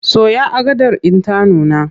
Soya agadar in ta nuna!